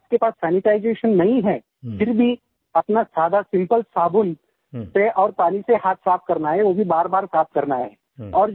अगर आपके पास सैनिटाइजेशन नहीं है फिर भी अपना सादा सिम्पल साबुन से और पानी से हाथ साफ़ करना है और वो भी बारबार साफ़ करना है